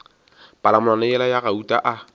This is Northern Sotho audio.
palamonwana yela ya gauta a